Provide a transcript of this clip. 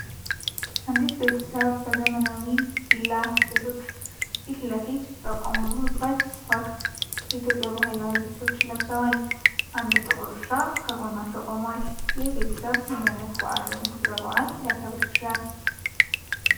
አንዲት ቤተሰብ በዘመናዊ ቪላ ቤቶች ፊት ለፊት በቆሙበት ወቅት የኢትዮጵያ ባህላዊ ልብሶችን ለብሰዋል። አንድ ጥቁር ውሻ ከጎናቸው ቆሟል። ይህ ቤተሰብ ምን ዓይነት በዓል ወይም ክብረ በዓል ሊያከብር ይችላል?